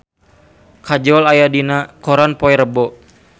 Kajol aya dina koran poe Rebo